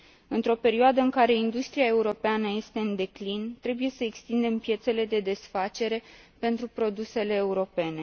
Într o perioadă în care industria europeană este în declin, trebuie să extindem piețele de desfacere pentru produsele europene.